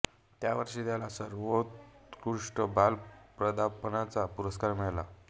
त्याच वर्षी त्याला सर्वोत्कृष्ट बाल पदार्पणाचा पुरस्कार मिळाला